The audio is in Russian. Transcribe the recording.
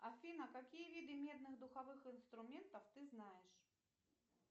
афина какие виды медных духовых инструментов ты знаешь